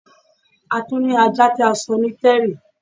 À tuń ni ajá ti à sọ́ ní terry